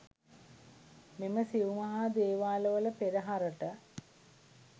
මෙම සිව් මහා දේවාලවල පෙරහරට